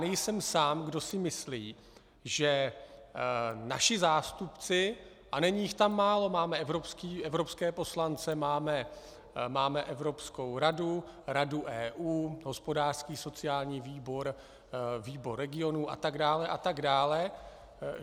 Nejsem sám, kdo si myslí, že naši zástupci - a není jich tam málo, máme evropské poslance máme Evropskou radu, Radu EU, hospodářský, sociální výbor, výbor regionů atd.